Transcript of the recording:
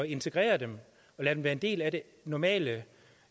integrere dem og lade dem være en del af det normale